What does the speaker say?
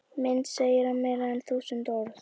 Mynd segir meira en þúsund orð